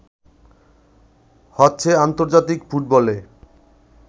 হচ্ছে আন্তর্জাতিক ফুটবলে